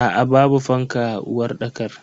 Aa babu fanka a uwarɗakar.